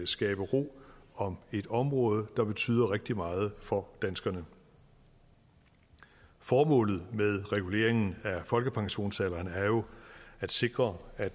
skabe ro om et område der betyder rigtig meget for danskerne formålet med reguleringen af folkepensionsalderen er jo at sikre at